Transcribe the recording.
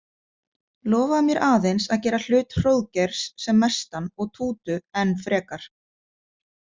Lofaðu mér aðeins að gera hlut Hróðgeirs sem mestan og Tútu enn frekar.